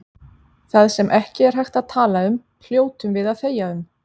Það sem ekki er hægt að tala um hljótum við að þegja um.